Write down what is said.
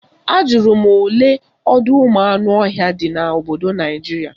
Ajụrụ m olee ọdọụmụanụọhịa dị n'obodo Naijiria